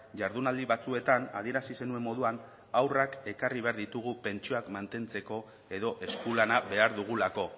jardunaldi batzuetan adierazi zenuen moduan haurrak ekarri behar ditugu pentsioak mantentzeko edo eskulana behar dugulako